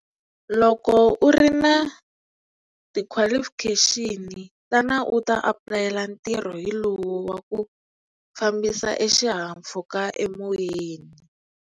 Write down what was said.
Loko u ri na ti-qualification tana u ta apulayela ntirho hi lowu wa ku fambisa e xihahampfhuka emoyeni.